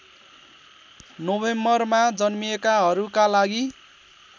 नोभेम्बरमा जन्मिएकाहरूका लागि